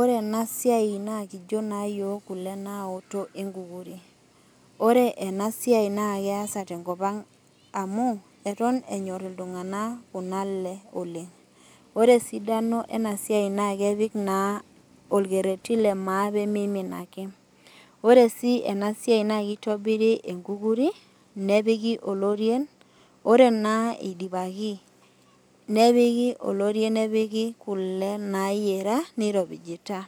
Ore enasiai naa kijo naayiok kule naoto enkukuri . Ore enasiai naa keasa tenkopang amu eton enyor iltunganak kuna ale oleng . Ore esidano enasiai naa kepik naa orkereti lemaa pemeim ake . Oresii enasiai naa kitobiri enkukuri , nepiki oloirien, ore naa idipaki , nepiki oloirieni , nepiki kule nayiera niropijita ,